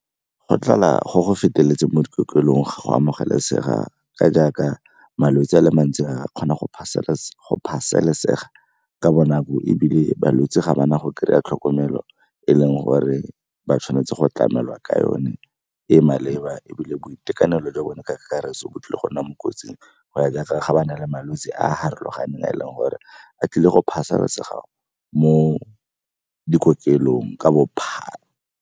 Go tlala go go feteletseng mo dikokelong ga go a amogelesega ka jaaka malwetse a le mantsi a kgona go ka bonako ebile balwetse ga ba na go kry-a tlhokomelo e leng gore ba tshwanetse go tlamela ka yone e maleba. Ebile boitekanelo jwa bone ka karetso bo tlile go nna mo kotsing go ya jaaka ga ba na le malwetse a a farologaneng a e leng gore a tlile go mo dikokelong ka bophara.